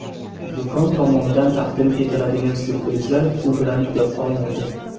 Do‘kon tomonidan taqdim etiladigan syurprizlar bu bilan tugab qolmaydi!